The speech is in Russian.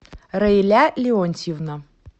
раиля леонтьевна